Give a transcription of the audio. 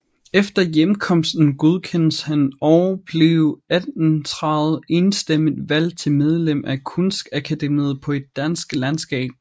Efter hjemkomsten godkendes han og blev 1830 enstemmig valgt til medlem af Kunstakademiet på et dansk landskab